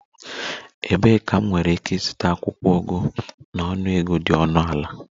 Ebee ka m nwere ike ịzụta akwụkwọ ugu na ọnụego dị ọnụ ala?